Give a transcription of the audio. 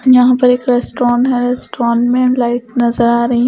यहां पर एक रेस्टोन है रेस्टोन में लाइट नजर आ रही--